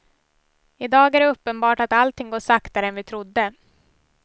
I dag är det uppenbart att allting går saktare än vi trodde.